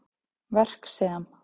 Verk sem